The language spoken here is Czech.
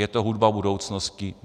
Je to hudba budoucnosti.